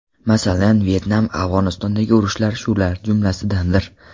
Masalan, Vyetnam, Afg‘onistondagi urushlar shular jumlasidandir.